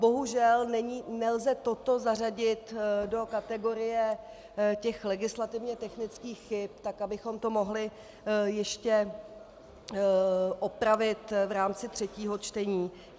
Bohužel nelze toto zařadit do kategorie těch legislativně technických chyb tak, abychom to mohli ještě opravit v rámci třetího čtení.